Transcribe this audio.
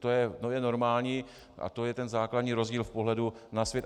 To je normální a to je ten základní rozdíl v pohledu na svět.